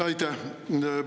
Aitäh!